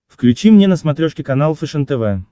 включи мне на смотрешке канал фэшен тв